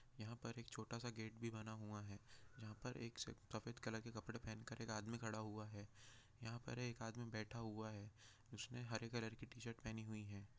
यहाँ और छोटा सा गेट बना हुआ है जहाँ एक आदमी सफ़ेद रंग के कपडे पेहेन के खड़ा हुआ है यहाँ एक आदमी बैठा हुआ है उसने हरी रंग की टी शर्ट पहनी हुई हैं।